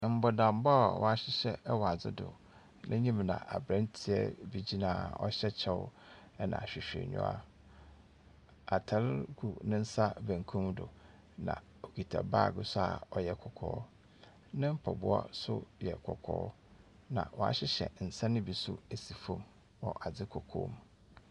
Mbɔdammɔ a wahyehyɛ, ɛwɔ adze do. N'enyim na abranteɛ bi gyina a ɔhyɛ kyɛw na ahwehwɛniwa. Atar gu n'ensa benkum do, na okita bag nso a ɔyɛ kɔkɔɔ. Ne mpaboa so yɛ kɔkɔɔ na wahyehyɛ nsa no bi so esi fom wɔ adze kɔkɔɔ mu.